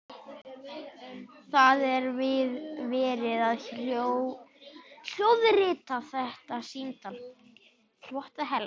Það er verið að hljóðrita þetta símtal.